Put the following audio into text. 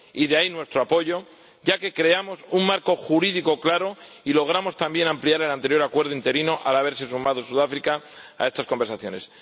De ahí, nuestro apoyo, ya que creamos un marco jurídico claro y logramos, también, ampliar el anterior Acuerdo interino, al haberse sumado Sudáfrica a estas conversaciones.